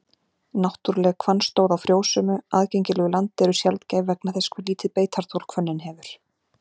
Náttúruleg hvannstóð á frjósömu, aðgengilegu landi eru sjaldgæf vegna þess hve lítið beitarþol hvönnin hefur.